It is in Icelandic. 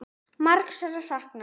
Margs er að sakna.